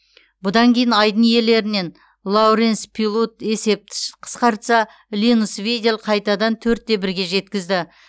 бұдан кейін айдын иелерінен лоуренс пилут есепті қысқартса линус видель қайтадан төрт те бірге жеткізді